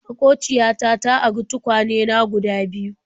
Maƙociya ta ta ari tukwane na guda biyu.